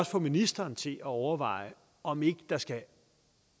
få ministeren til at overveje om ikke der skal